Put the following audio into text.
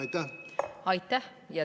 Aitäh!